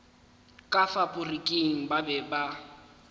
ka faporiking ba be ba